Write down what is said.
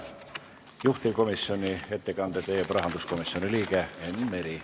Juhtivkomisjoni ettekande teeb rahanduskomisjoni liige Enn Meri.